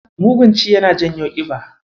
Mugun ci yana janyo ƙiba.